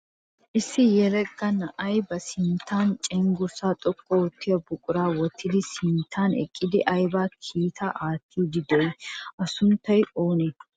Issi yelaga na'ay ba sinttan cenggurssaa xoqqu oottiya buquraa wottidi a sinttan eqqidi ayiba kiitaa aattiiddi dii? A sunttay oonee?